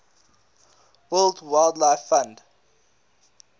world wildlife fund